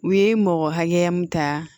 U ye mɔgɔ hakɛya mun ta